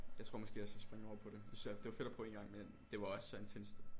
Jeg tror måske også jeg spinger over på det jeg synes det var fedt at prøve én gang men det var også ret intenst